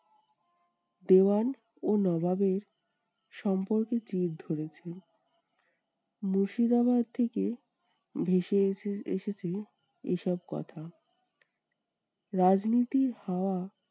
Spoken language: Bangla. দেওয়ান ও নবাবের সম্পর্কে চির ধরেছে। মুর্শিদাবাদ থেকে ভেসে এসে~ এসেছে এসব কথা। রাজনীতির হাওয়া